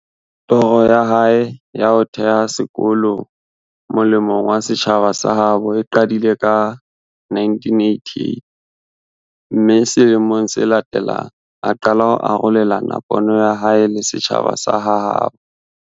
Toro ya hae ya ho theha sekolo mole mong wa setjhaba sa habo e qadile ka 1988, mme sele mong se latelang, a qala ho arolelana pono ya hae le setjhaba sa ha habo.